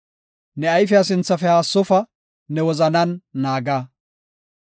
Ne ayfiya sinthafe haassofa; ne wozanan naaga.